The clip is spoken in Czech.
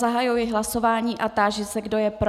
Zahajuji hlasování a táži se, kdo je pro.